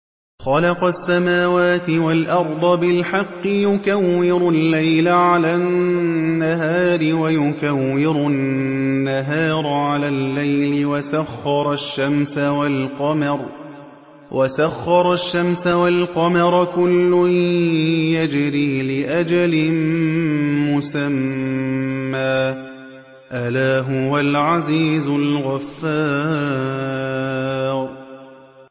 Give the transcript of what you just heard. خَلَقَ السَّمَاوَاتِ وَالْأَرْضَ بِالْحَقِّ ۖ يُكَوِّرُ اللَّيْلَ عَلَى النَّهَارِ وَيُكَوِّرُ النَّهَارَ عَلَى اللَّيْلِ ۖ وَسَخَّرَ الشَّمْسَ وَالْقَمَرَ ۖ كُلٌّ يَجْرِي لِأَجَلٍ مُّسَمًّى ۗ أَلَا هُوَ الْعَزِيزُ الْغَفَّارُ